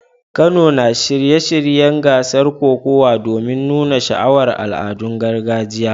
Kano na shirin shirya gasar kokawa domin nuna sha'awar al'adun gargajiyar.